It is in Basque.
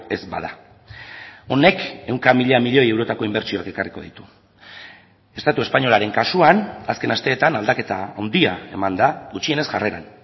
ez bada honek ehunka mila milioi eurotako inbertsioak ekarriko ditu estatu espainolaren kasuan azken asteetan aldaketa handia eman da gutxienez jarreran